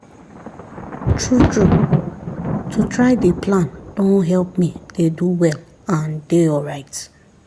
true true to try dey plan don help me dey do well and dey alright